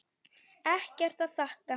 Ekkert að þakka.